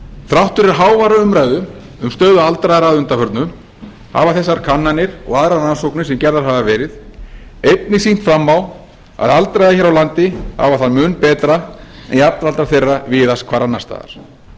þrátt fyrir háværa umræðu um stöðu aldraðra að undanförnu hafa þessar kannanir og aðrar rannsóknir sem gerðar hafa verið einnig sýnt fram á að aldraðir hér á landi hafa það mun betra en jafnaldrar þeirra víðast hvar annars staðar má